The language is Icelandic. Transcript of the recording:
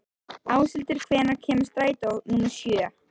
Áshildur, hvenær kemur strætó númer sjö?